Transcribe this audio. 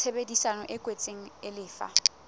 tshebedisano e kwetsweng e lefa